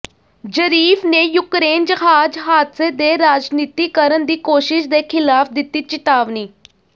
Zarif ਨੇ Ukraine ਜਹਾਜ਼ ਹਾਦਸੇ ਦੇ ਰਾਜਨੀਤੀਕਰਨ ਦੀ ਕੋਸ਼ਿਸ਼ ਦੇ ਖਿਲਾਫ ਦਿੱਤੀ ਚਿਤਾਵਨੀ